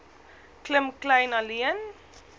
klim kleyn alleen